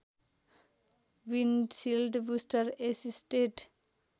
windshield booster assisted